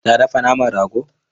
Ta dafa naman rago?